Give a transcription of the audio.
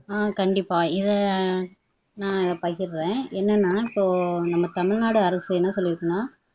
அஹ் கண்டிப்பா இதை நான் பகிர்றேன் என்னன்னா சோ நம்ம தமிழ்நாடு அரசு என்ன சொல்லிருக்குன்னா